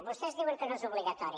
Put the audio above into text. vostès diuen que no és obligatori